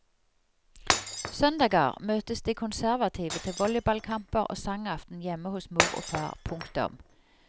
Søndager møtes de konservative til volleyballkamper og sangaften hjemme hos mor og far. punktum